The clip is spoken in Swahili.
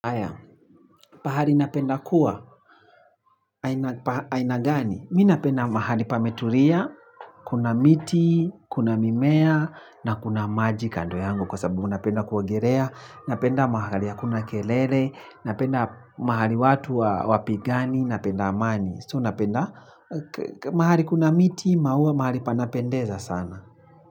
Aya, pahali napenda kuwa, aina gani. Minapenda mahali pameturia, kuna miti, kuna mimea, na kuna maji kando yangu kwa sababu unapenda kuagirea. Napenda mahali ya kuna kelele, napenda mahali watu wapi gani, napenda amani. So unapenda mahali kuna miti, maua mahali panapendeza sana.